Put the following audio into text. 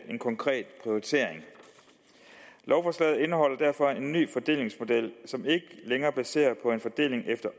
en konkret prioritering lovforslaget indeholder derfor en ny fordelingsmodel som ikke længere er baseret på en fordeling efter